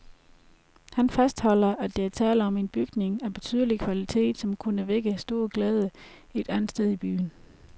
Han fastholder, at der er tale om en bygning af betydelig kvalitet, som kunne vække stor glæde et andet sted i byen.